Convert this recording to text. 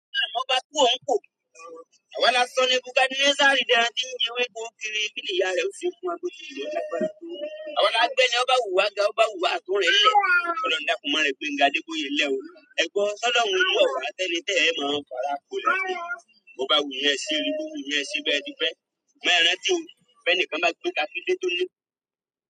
Àwọn alágbẹ̀ ni ó bá wùwà, àtúnrẹ lẹ̀. Ṣọlá ń dákún mọ́ rẹ̀ pé, "Genga adégboyè lé o, ẹ gbọ́, sólọ́run mú ọ̀wáá tẹ́nitẹ́ẹ̀ mọ́ ọkọ̀ ara ko lẹ́gbẹ́. Mo bá wù yẹn sí orí búburú, yẹn sì bẹ́ ẹ di pẹ́. Ṣùgbọ́n ẹ ran tí o, bí ẹnìkan bá gbé taksi de tó ní."